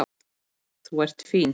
Þú ert fín.